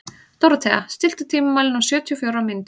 Dórothea, stilltu tímamælinn á sjötíu og fjórar mínútur.